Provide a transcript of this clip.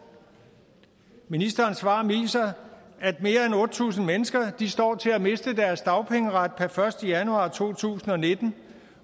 ministerens svar viser at mere end otte tusind mennesker står til at miste deres dagpengeret per første januar to tusind og nitten